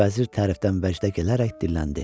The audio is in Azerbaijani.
vəzir tərifdən bərkdə gələrək dilləndi.